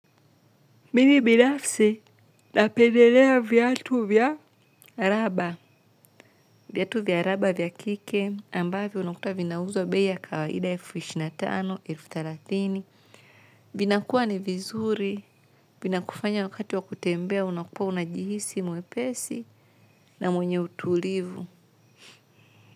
Mimi binafsi napendelea viatu vya raba. Viatu vya raba vya kike ambavyo unakuta vinauzwa bei ya kawaida elfu ishirini na tano elfu thela vinakuwa ni vizuri. Vinakufanya wakati wa kutembea unakuwa unajihisi mwepesi na mwenye utulivu.